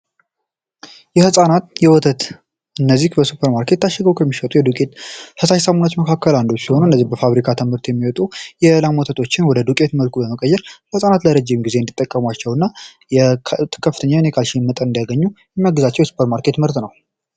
የሕፃናት የወተት እነዚህ በሱፐር ማርኬት ታሸገው ከሚሸጡ የዱቄት 28ሙ መካከል አንዶች ሲሆኑ እነዚህ በፋብሪካ ተምህርት የሚወጡ የዕላም ወተቶችን ወደ ዱቄት መልኩ በመቀየር ለፃናት ለረጅም ጊዜ እንዲጠቀሟቸው እና የከፍተኛ የኒካል ሺመጠ እንዲያገኙ የሚያጊዛቸው የsፐርማርኬት ምህርት ነው